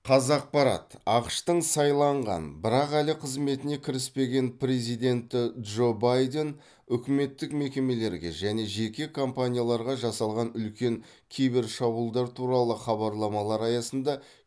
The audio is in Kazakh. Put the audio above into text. қазақпарат ақш тың сайланған бірақ әлі қызметіне кіріспеген президенті джо байден үкіметтік мекемелерге және жеке компанияларға жасалған үлкен кибершабуылдар туралы хабарламалар аясында